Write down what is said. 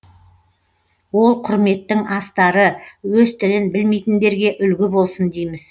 ол құрметтің астары өз тілін білмейтіндерге үлгі болсын дейміз